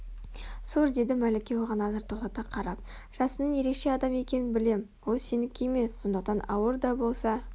сур деді мәлике оған назар тоқтата қарап жасынның ерекше адам екенін білем ол сенікі емес сондықтан ауыр да болса